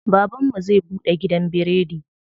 Baban mu zai buɗe gidan biredi.